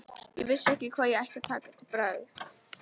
Ég vissi ekki hvað ég ætti að taka til bragðs.